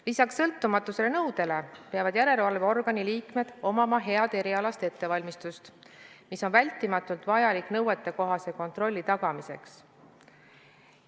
Lisaks sõltumatuse nõudele peavad järelevalveorgani liikmed omama head erialast ettevalmistust, mis on hädavajalik nõuetekohase kontrolli tagamiseks.